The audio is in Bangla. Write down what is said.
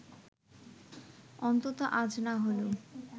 অন্তত আজ না হলেও